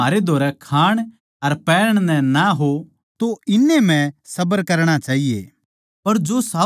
जै म्हारै धोरै खाण अर पैहरण नै हो तो इन्नै म्ह सबर करणा चाहिये